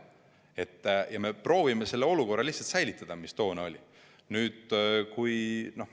Me lihtsalt proovime säilitada selle olukorra, mis toona oli.